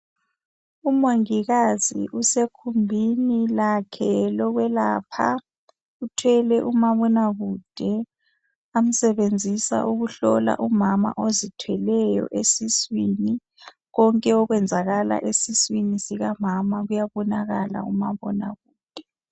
Umongikazi usegumbini lakhe lokwelapha uthwele umabonakude amsebenzisa ukuhlola umama ozithweleyo esiswini , konke okwenzakala esiswini sikamama kuyabonakala kumabonakude